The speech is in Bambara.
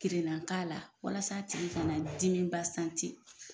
Kirinna k'a la walasa a tigi kana dimi